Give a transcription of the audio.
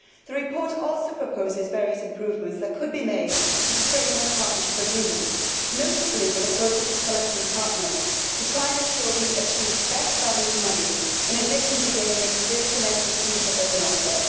The report also proposes various improvements that could be made to the Framework Partnership Agreements, notably with the process of selecting partners to try to ensure that we achieve best value for money in addition to gaining the experience and expertise that they can offer.